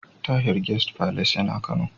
Tahir Guest Palace yana Kano.